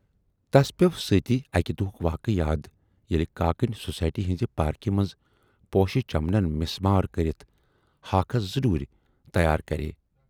تس پٮ۪و سۭتی اکہِ دۅہُک واقعہٕ یاد ییلہِ کاکٕنۍ سوسایٹی ہٕنزِ پارکہِ منز پوشہِ چمنَن مِسمار کٔرِتھ ہاکھس زٕ ڈوٗرۍ تیار کرییہِ۔